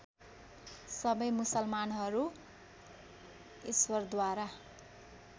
सबै मुसलमानहरू ईश्वरद्वारा